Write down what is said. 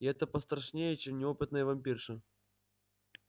и это пострашнее чем неопытная вампирша